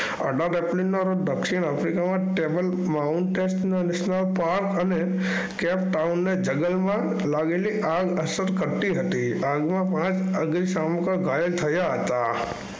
દક્ષિણ આફ્રિકામાં અને કેપટાઉનને જંગલમાં લાગેલી આગ અસર કરતી હતી. આગમાં પાંચ અગ્નિશામકો ગાયેલ થયા હતા.